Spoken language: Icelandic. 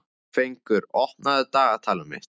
Fengur, opnaðu dagatalið mitt.